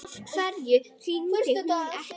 Af hverju hringdi hún ekki?